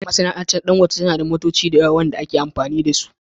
Masana'antar Dangote tana da motoci da yawa da ake amfani da su